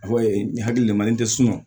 Fɔ nin hakili de man nin tɛ sunɔgɔ